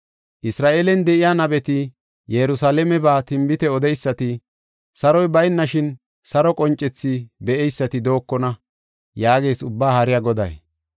Isra7eelen de7iya nabeti, Yerusalaameba tinbite odeysati, saroy baynashin saro qoncethi be7eysati dookona’ ” yaagees Ubbaa Haariya Goday.